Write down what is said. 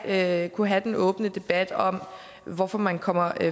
at kunne have den åbne debat om hvorfor man kommer